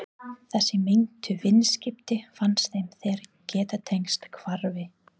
Þessi meintu viðskipti fannst þeim þeir geta tengt hvarfi